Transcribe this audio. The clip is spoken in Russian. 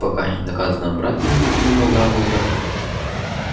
пока не доказано обратное напомнил дамблдор